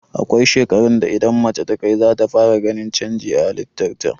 Akwai shekarun da idan mace takai, zata fara ganin canji a halitar ta.